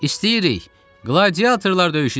İstəyirik, qladiatorlar döyüşü istəyirik.